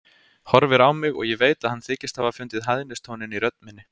Horfir á mig og ég veit að hann þykist hafa fundið hæðnistóninn í rödd minni.